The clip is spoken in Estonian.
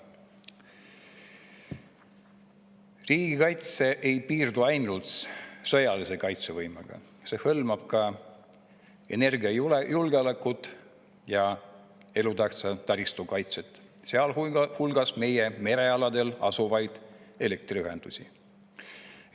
Riigikaitse ei piirdu ainult sõjalise kaitsevõimega, see hõlmab ka energiajulgeolekut ja elutähtsa taristu kaitset, sealhulgas meie merealadel asuvaid elektriühendusi.